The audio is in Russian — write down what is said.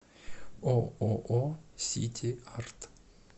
ооо сити арт